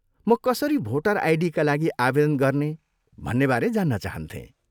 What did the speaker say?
म कसरी भोटर आइडीका लागि आवेदन गर्ने भन्नेबारे जान्न चाहन्थेँ।